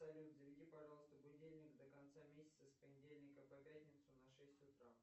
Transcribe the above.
салют заведи пожалуйста будильник до конца месяца с понедельника по пятницу на шесть утра